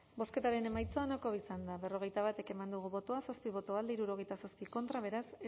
bozketaren emaitza onako izan da hirurogeita hamalau eman dugu bozka zazpi boto alde sesenta y siete contra beraz